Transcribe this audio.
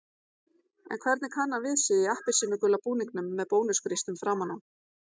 En hvernig kann hann við sig í appelsínugula búningnum með Bónus-grísnum framan á?